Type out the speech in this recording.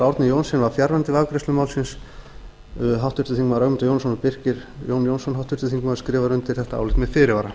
árni johnsen var fjarverandi við afgreiðslu málsins háttvirtur þingmaður ögmundur jónasson og birkir j jónsson skrifa undir álit þetta með fyrirvara